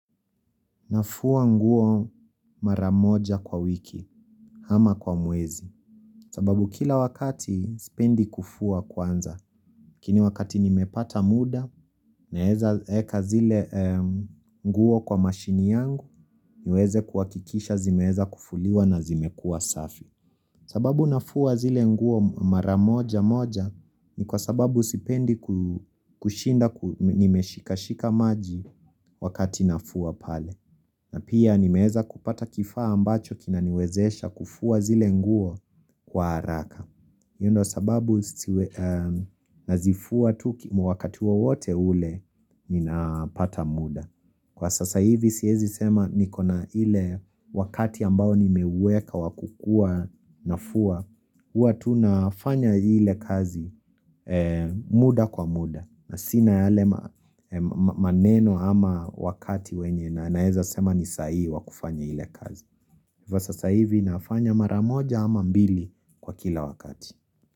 Nafua nguo mara moja kwa wiki, ama kwa mwezi, sababu kila wakati sipendi kufua kwanza. Lakini wakati nimepata muda, naweza weka zile nguo kwa mashine yangu, niweze kuhakikisha zimeweza kufuliwa na zimekuwa safi. Sababu nafua zile nguo mara moja moja, ni kwa sababu sipendi kushinda nimeshika shika maji wakati nafua pale. Na pia nimeweza kupata kifaa ambacho kinaniwezesha kufua zile nguo kwa haraka. Hii ndio sababu nazifua tu, ki wakatu wote ule ninapata muda. Kwa sasa hivi, siwezi sema niko na ile wakati ambao nimeuweka wa kukuwa nafua, huwa tu nafanya ile kazi muda kwa muda, na sina yale maneno ama wakati wenye na naweza sema ni saa hii wa kufanya ile kazi. Kwa sasa hivi, nafanya mara moja ama mbili kwa kila wakati.